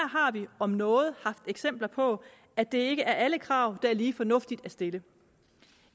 har vi om noget haft eksempler på at det ikke er alle krav der er lige fornuftige at stille